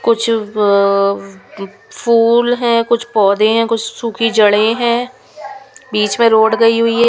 कुछ फूल है कुछ पौधे हैं कुछ सूखी जड़े हैं बीच में रोड गई हुई है.